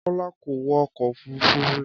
Kọ́lá kò wọ ọkọ̀ òfúrufú rí